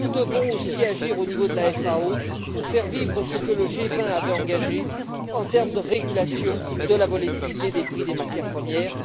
Nous devons aussi agir au niveau de la FAO, pour faire vivre ce que le G20 avait engagé en termes de régulation de la volatilité des prix des matières premières.